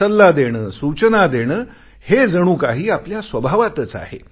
सल्ला देणे सूचना देणे हे जणू काही आपल्याकडे स्वभावातच आहे